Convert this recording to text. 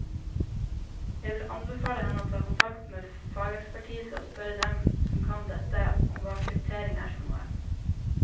Jeg vil anbefale henne å ta kontakt med fagekspertise og spørre dem som kan dette, om hva kryptering er for noe.